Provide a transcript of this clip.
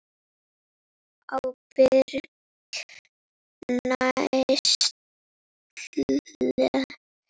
Ábyrg neysla.